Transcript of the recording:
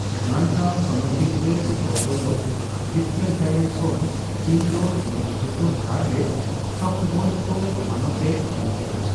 Atlanta Olympic ᱨᱮ ᱨᱩᱯᱟᱹ ᱯᱚᱫᱚᱠ ᱡᱤᱛᱠᱟᱹᱨ ᱛᱟᱭᱚᱢ ᱠᱷᱚᱱ ᱪᱤᱱ ᱫᱚ ᱱᱤᱛ ᱡᱚᱛᱚ ᱛᱷᱟᱨ ᱨᱮ ᱥᱚᱯᱷᱴᱵᱚᱞ ᱠᱚ ᱢᱟᱱᱚᱛ ᱮ ᱮᱢ ᱠᱮᱫᱟ ᱾